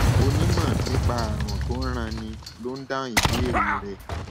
onímọ nípa àrùn tó ń ranni ló ń dáhùn ìbéèrè rẹ